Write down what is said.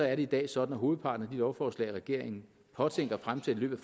er det i dag sådan at hovedparten af de lovforslag regeringen påtænker at fremsætte i løbet